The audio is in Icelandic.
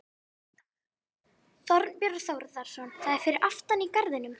Þorbjörn Þórðarson: Það er fyrir aftan í garðinum?